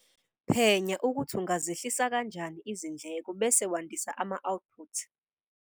Phenya ukuthi ungazehlisa kanjani izindleko bese wandisa ama-output.